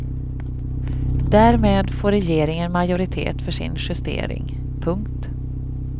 Därmed får regeringen majoritet för sin justering. punkt